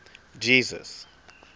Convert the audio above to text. jesus